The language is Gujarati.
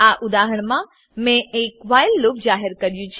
આ ઉદાહરણમાં મેં એક વ્હાઈલ લૂપ જાહેર કર્યું છે